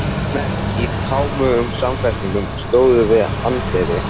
Menn í kámugum samfestingum stóðu við anddyri.